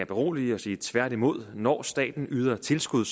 berolige og sige tværtimod når staten yder tilskud